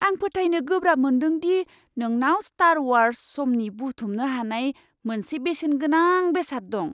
आं फोथायनो गोब्राब मोन्दों दि नोंनाव स्टार वार्स समनि बुथुमनो हानाय मोनसे बेसेनगोनां बेसाद दं!